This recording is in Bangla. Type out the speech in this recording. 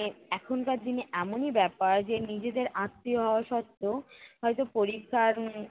এ~ এখনকার দিনে এমনই ব্যাপার যে নিজেদের আত্মীয় হওয়া সত্ত্বেও হয়ত পরীক্ষার উম